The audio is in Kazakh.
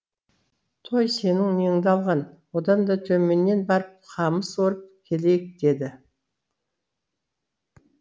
той сенің неңді алған одан да төменнен барып қамыс орып келейік деді